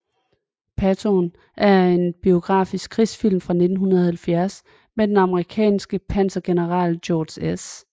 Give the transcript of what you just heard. Patton er en biografisk krigsfilm fra 1970 om den amerikanske pansergeneral George S